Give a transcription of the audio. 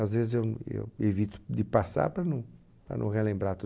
Às vezes eu eu evito de passar para não para não relembrar